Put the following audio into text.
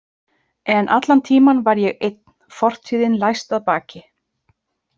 En allan tímann var ég einn, fortíðin læst að baki.